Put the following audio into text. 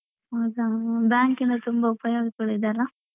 ಹೌದಾ bank ಯಿಂದ ತುಂಬಾ ಉಪಯೋಗಗಳಿದೆ ಅಲ್ಲಾ.